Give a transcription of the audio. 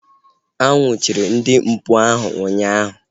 A nnwuchiri ndị mpụ ahu ụnyaahụ